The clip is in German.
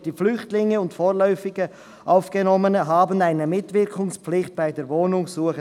«Die Flüchtlinge und vorläufig Aufgenommenen haben eine Mitwirkungspflicht bei der Wohnungssuche.